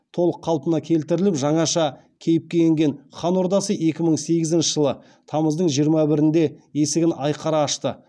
толық қалпына келтіріліп жаңаша кейіпке енген хан ордасы екі мың он сегізінші жылы тамыздың жиырма бірінде есігін айқара ашты